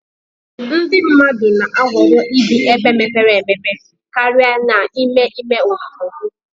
ndị mmadụ na-ahọrọ ibi ebe mepere emepe karịa n'ime ime obodo